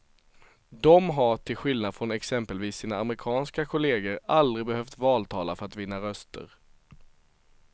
De har, till skillnad från exempelvis sina amerikanska kolleger aldrig behövt valtala för att vinna röster.